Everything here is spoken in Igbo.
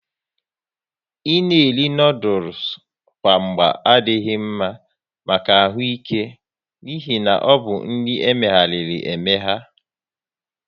Ị na eri noodules kwa mgba adị mma maka ahụ ike n'ihi na ọbụ nri emeghariri emegha